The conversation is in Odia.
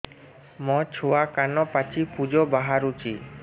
ମୋ ଛୁଆ କାନ ପାଚି ପୂଜ ବାହାରୁଚି